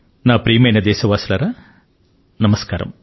నా ప్రియమైన దేశవాసులారా నమస్కారం